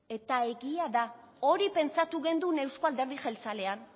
eta egia da hori pentsatu gendun euzko alderdi jeltzalean